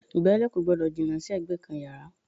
Ìgbálẹ̀ kò gbọ́dọ̀ jìnnà sí ẹ̀gbẹ́ kan yàrá